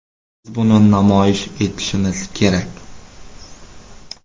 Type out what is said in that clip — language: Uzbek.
Biz buni namoyish etishimiz kerak.